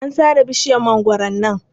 An sare bisjiyar mangwaron nan.